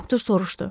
Doktor soruşdu.